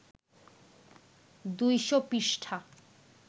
২০০ পৃষ্ঠা